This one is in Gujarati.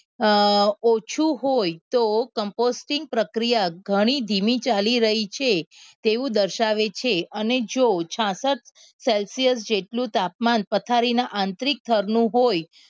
અ ઓછું હોય તો કોમ્પોસ્ટિક પ્રક્રિયા ઘણી ધીમી ચાલી રહી છે તેઓ દર્શાવે છે અને જો છાસઠ celsius જેટલું તાપમાન પથારીના આંતરિક થરનું હોય